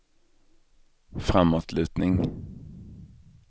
framåtlutning